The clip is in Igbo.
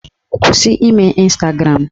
Kwụsị ime Ịnstagram!